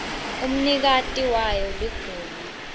umnikati wayo ligunya